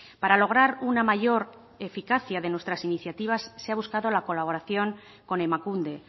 para lograr una mayor eficacia de nuestras iniciativas se ha buscado la colaboración con emakunde